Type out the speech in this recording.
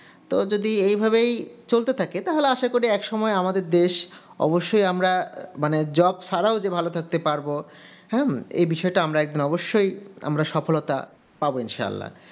তো যদি এই ভাবেই চলতে থাকে তাহলে আসা করি একসময় আমাদের দেশ অবশ্যই আমরা মানে job ছাড়াও যে ভালো থাকতে পারবো হুম এই বিষয়টা আমরা একদিন অবশ্যই আমরা সফলতা পাবো ইনশাল্লাহ